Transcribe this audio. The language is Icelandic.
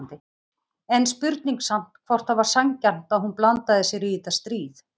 En spurning samt hvort það var sanngjarnt að hún blandaði sér í þetta stríð?